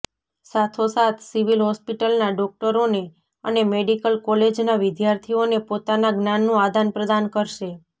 સાથો સાથ સિવિલ હોસ્પિટલના ડોકટરોને અને મેડિકલ કોલેજના વિદ્યાર્થીઓને પોતાના જ્ઞાનનું આદાન પ્રદાન કરશે